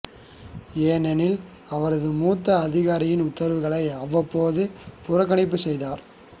எனினும் அவரது மூத்த அதிகாரியின் உத்தரவுகளை அவ்வப்போது புறக்கணிப்பு செய்தார்